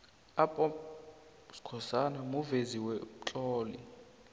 up b skhosana muvezi bemtloli